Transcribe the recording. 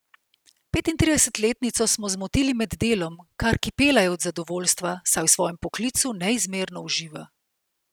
Petintridesetletnico smo zmotili med delom, kar kipela je od zadovoljstva, saj v svojem poklicu neizmerno uživa!